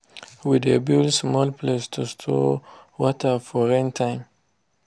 we de build small place to store water for rain time